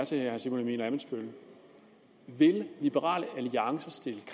herre simon emil ammitzbøll er vil liberal alliance stille